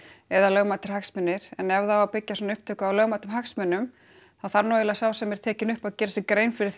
eða lögmætir hagsmunir en ef það á að byggja svona upptöku á lögmætum hagsmunum þá þarf nú eiginlega sá sem er tekinn upp að gera sér grein fyrir